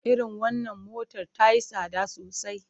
Irin wannan motar ta yi tsada sosai.